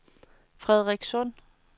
Frederikssund